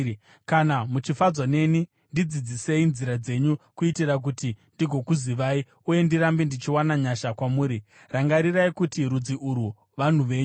Kana muchifadzwa neni, ndidzidzisei nzira dzenyu kuitira kuti ndigokuzivai uye ndirambe ndichiwana nyasha kwamuri. Rangarirai kuti rudzi urwu vanhu venyu.”